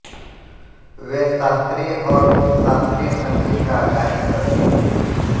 वे शास्त्रीय और उपशास्त्रीय संगीत का गायन करतीं थीं